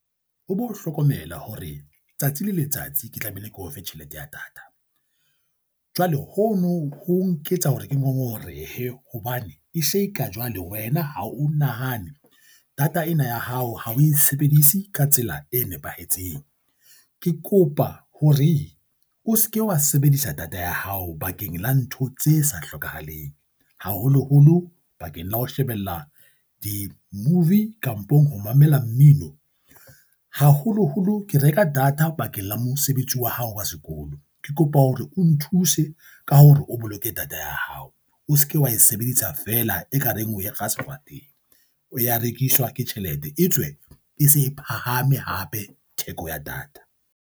O bo hlokomela hore tsatsi le letsatsi ke tlameile ke o fe tjhelete ya data, jwale ho no ho nketsa hore ke ngongorehe hobane e se e ka jwale wena ha o nahane data ena ya hao ha o e sebedise ka tsela e nepahetseng. Ke kopa hore o se ke wa sebedisa data ya hao bakeng la ntho tse sa hlokahaleng haholoholo bakeng la ho shebella di-movie kampong ho mamela mmino, haholoholo ke reka data bakeng la mosebetsi wa hao wa sekolo, ke kopa hore o nthuse ka hore o boloke data ya hao, o se ke wa e sebedisa fela ekareng o e kga sefateng, o ya rekiswa ke tjhelete e tswe e se e phahame hape theko ya data.